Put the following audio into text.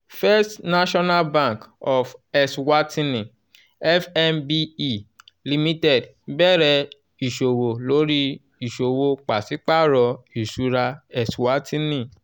first national bank of eswatini (fnbe) limited bẹrẹ iṣowo lori iṣowo pasipaaro iṣura eswatini